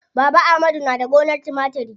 Baba amadu na da gonar timatiri.